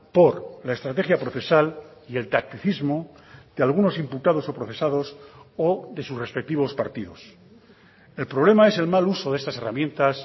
por la estrategia procesal y el tacticismo de algunos imputados o procesados o de sus respectivos partidos el problema es el mal uso de estas herramientas